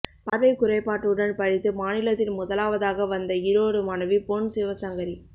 பார்வை குறைபாட்டுடன் படித்து மாநிலத்தில் முதலாவதாக வந்த ஈரோடு மாணவி பொன்சிவசங்கரி